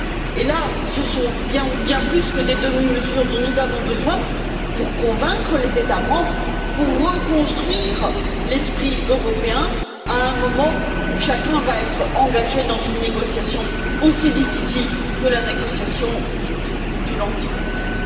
Et à cet égard, ce sont bien plus que des demi mesures dont nous avons besoin pour convaincre les États membres, pour reconstruire l'esprit européen, à un moment où chacun va être engagé dans une négociation aussi difficile que la négociation pour ou contre le Brexit